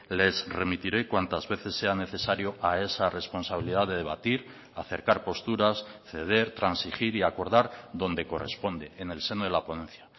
les remitiré cuantas veces sea necesario a esa responsabilidad de debatir acercar posturas ceder transigir y acordar donde corresponde en el seno de la ponencia